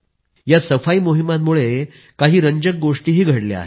या सफाई मोहिमांमुळे काही रंजक गोष्टीही घडल्या आहेत